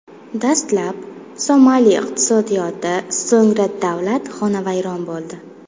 Dastlab, Somali iqtisodiyoti, so‘ngra davlat xonavayron bo‘ldi.